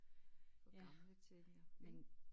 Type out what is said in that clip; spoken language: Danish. For gamle til